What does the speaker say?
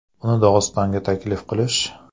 Uni Dog‘istonga taklif qilish?